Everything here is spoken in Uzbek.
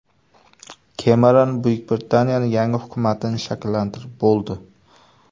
Kemeron Buyuk Britaniyaning yangi hukumatini shakllantirib bo‘ldi.